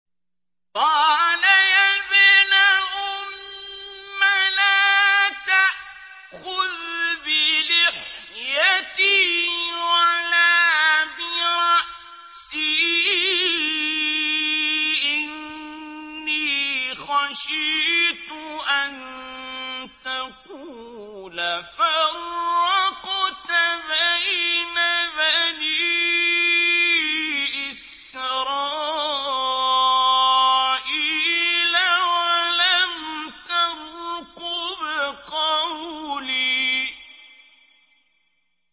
قَالَ يَا ابْنَ أُمَّ لَا تَأْخُذْ بِلِحْيَتِي وَلَا بِرَأْسِي ۖ إِنِّي خَشِيتُ أَن تَقُولَ فَرَّقْتَ بَيْنَ بَنِي إِسْرَائِيلَ وَلَمْ تَرْقُبْ قَوْلِي